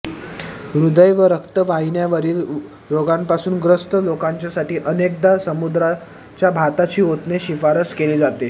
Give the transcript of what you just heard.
हृदय व रक्तवाहिन्यांवरील रोगांपासून ग्रस्त लोकांच्यासाठी अनेकदा समुद्राच्या भाताची ओतणे शिफारस केली जाते